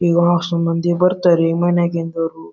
ಈ ಅಸ್ಸು ಮಂದೀ ಬರ್ತಾರ ರೀ ಮನೆಗ್